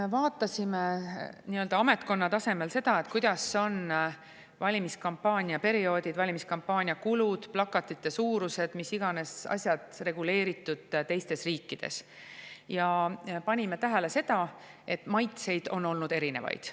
Me vaatasime ametkonna tasemel seda, kuidas on valimiskampaania perioodil valimiskampaania kulud, plakatite suurused ja mis iganes asjad reguleeritud teistes riikides, ja panime tähele, et maitseid on olnud erinevaid.